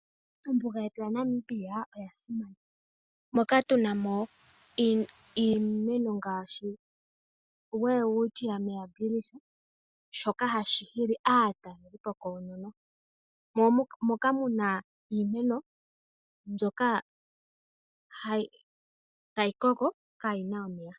Ombuga yetu yaNamibia oya simana moka tu namo iimeno ngaashi oWelwitchia Mirabiles, shoka hashi hili aatalelipo koonono omu na wo iimeno mbyoka tayi koko yaa na omeya.